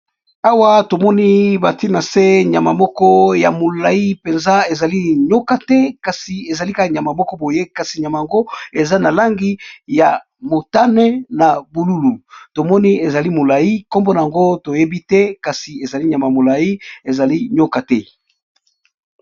Awa tomoni batye na se nyama moko boye ya molayi soki ezali nyoka toyebi te eza na langi ya mosaka na bululu Kasi toyebi yango te.